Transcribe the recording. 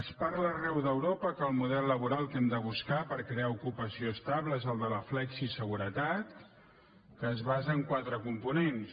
es parla arreu d’europa que el model laboral que hem de buscar per crear ocupació estable és el de la flexiseguretat que es basa en quatre components